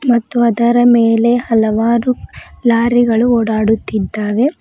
ಮತ್ತು ಅದರ ಮೇಲೆ ಹಲವಾರು ಲಾರಿಗಳು ಓಡಾಡುತ್ತಿದ್ದಾರೆ.